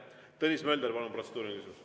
Tõnis Mölder, palun, protseduuriline!